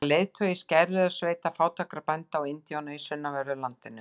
Hann var leiðtogi skæruliðasveita fátækra bænda og indjána í sunnanverðu landinu.